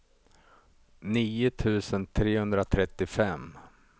nio tusen trehundratrettiofem